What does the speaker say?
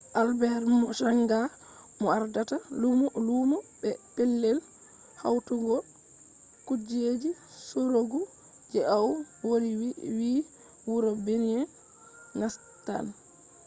albet mochanga mo ardata lumo be pellel hautugo kujeji sorugo je au woli vi wuro binin nastan